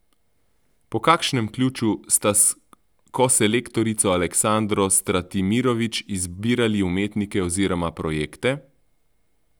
Po kakšnem ključu sta s koselektorico Aleksandro Stratimirović izbirali umetnike oziroma projekte?